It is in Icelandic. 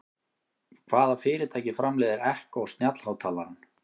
Hvaða fyrirtæki framleiðir Echo snjallhátalarann?